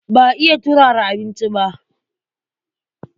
Ba iya turara abinci ba.